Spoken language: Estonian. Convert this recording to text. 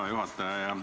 Hea juhataja!